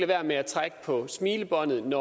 være med at trække på smilebåndet ad